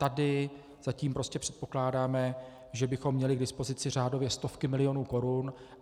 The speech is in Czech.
Tady zatím prostě předpokládáme, že bychom měli k dispozici řádově stovky milionů korun.